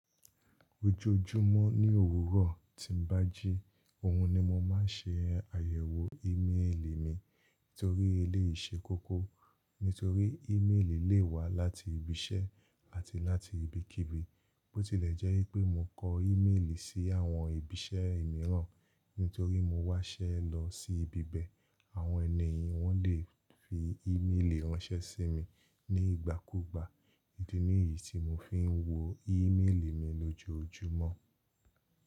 Ojoojúmọ́ ní òwúrọ̀ tí ń bájí, òhun ni mo máa ń ṣe àyẹ̀wò ìmeélì mi torí eléyi sẹ́ koko. Nítorí ìmeélì lè wá láti ibi iṣẹ́ àti láti ibikíbi. Bó tilẹ̀ jẹ́ pé mo kọ ìmeélì sí àwọn ibi iṣẹ́ míràn nítorí mo wá ṣẹ́ lọ sí ibi bẹ́ẹ̀, àwọn ènìyàn wọn lè fi ímélì ránṣẹ́ sí mi ní ìgbà kúùgbà. Idi nì yìí tí mo fi ń wo ìmeélì mi lójoojúmọ́.